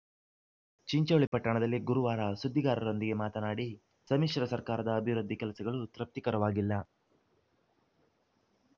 ಚಿಂಚೋಳಿ ಪಟ್ಟಣದಲ್ಲಿ ಗುರುವಾರ ಸುದ್ದಿಗಾರರೊಂದಿಗೆ ಮಾತನಾಡಿ ಸಮ್ಮಿಶ್ರ ಸರ್ಕಾರದ ಅಭಿವೃದ್ಧಿ ಕೆಲಸಗಳು ತೃಪ್ತಿಕರವಾಗಿಲ್ಲ